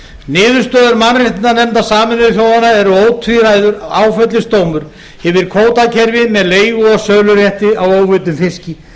niðurstöður mannréttindanefndar sameinuðu þjóðanna eru ótvíræður áfellisdómur yfir kvótakerfi með leigu og sölurétti á óveiddum fiski